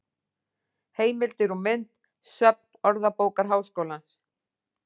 Heimildir og mynd: Söfn Orðabókar Háskólans.